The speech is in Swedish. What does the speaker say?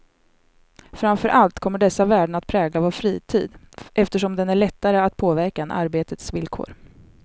Framför allt kommer dessa värden att prägla vår fritid, eftersom den är lättare att påverka än arbetets villkor.